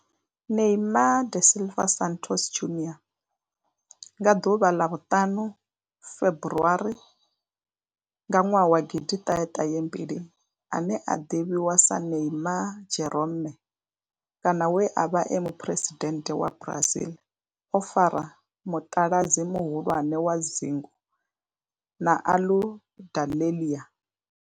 Neymar da Silva Santos Junior nga ḽa 5 February 1992, ane a ḓivhiwa sa Neymar Jeromme kana we a vha e muphuresidennde wa Brazil o fara muṱaladzi muhulwane wa dzingu na Aludalelia.